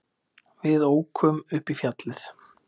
Við ókum upp í fjallið.